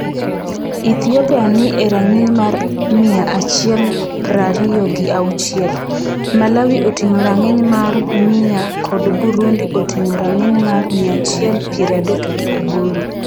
Ethiopia ni e rang'iny mar mia achiel prariyo gi auchiel, Malawi oting'o rang'iny mar 100 kod Burundi oting'o rang'iny mar 138.